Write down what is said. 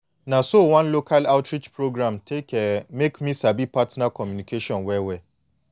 na so one local outreach program take um make me sabi partner communication well well